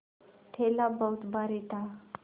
थैला बहुत भारी था